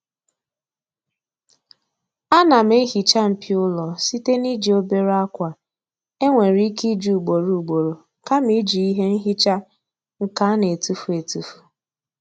Ana m ehiicha mpio ụlọ site n'iji obere akwa e nwere ike iji ugboro ugboro kama iji ihe nhicha nke a na-etufu etufu.